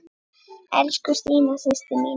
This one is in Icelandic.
Elsku Stína systir mín.